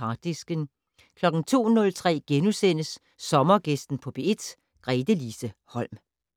Harddisken * 02:03: Sommergæsten på P1: Gretelise Holm *